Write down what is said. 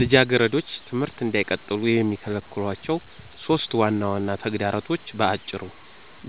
ልጃገረዶች ትምህርት እንዳይቀጥሉ የሚከለክሏቸው 3 ዋና ዋና ተግዳሮቶች በአጭሩ፦